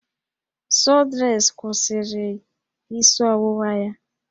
Sọdresị kwụsịrị isi ọwụwa ya